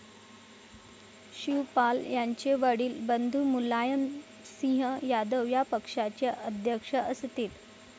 शिवपाल यांचे वडील बंधू मुलायम सिंह यादव या पक्षाचे अध्यक्ष असतील.